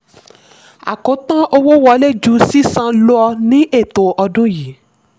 àkótán: owó wọlé ju sísan lọ ní ètò ọdún yìí.